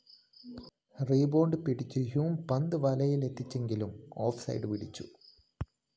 rebound പിടിച്ച Hume പന്ത് വലയിലെത്തിച്ചെങ്കിലും ഓഫ്‌ സൈഡ്‌ വിളിച്ചു